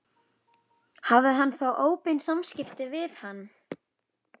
Hafði hann þá óbein samskipti við hann?